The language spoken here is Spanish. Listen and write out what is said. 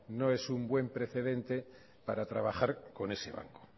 no es un buen precedente para trabajar con ese banco